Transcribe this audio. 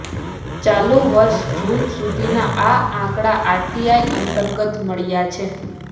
ચાલુ વર્ષે જૂન સુધીના આ આંકડા આરટીઆઈ અંતર્ગત મળ્યા છે